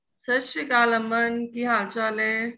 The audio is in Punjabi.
ਸਤਿ ਸ਼੍ਰੀ ਅਕਾਲ ਅਮਨ ਕਿ ਹਾਲ ਚਾਲ ਏ